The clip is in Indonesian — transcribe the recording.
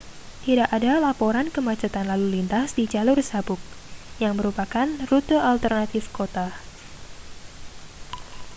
tidak ada laporan kemacetan lalu lintas di jalur sabuk yang merupakan rute alternatif kota